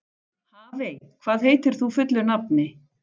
Hafey, hvað heitir þú fullu nafni?